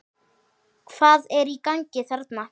Hvað er í gangi þarna?